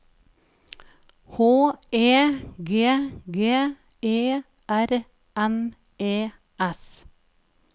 H E G G E R N E S